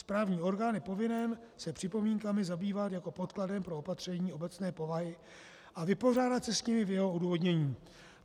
Správní orgán je povinen se připomínkami zabývat jako podkladem pro opatření obecné povahy a vypořádat se s nimi v jeho odůvodnění.